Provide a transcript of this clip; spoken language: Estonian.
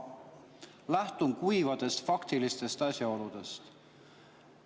Ma lähtun kuivadest faktilistest asjaoludest.